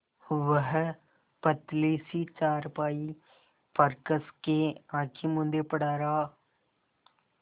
वह पतली सी चारपाई पर कस के आँखें मूँदे पड़ा रहा